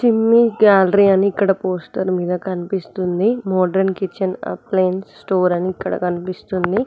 చిమ్మి గ్యాలరీ అని ఇక్కడ పోస్టర్ మీద కనిపిస్తోంది మోడరన్ కిచెన్ అప్లియన్స్ స్టోర్ అని ఇక్కడ కనిపిస్తుంది.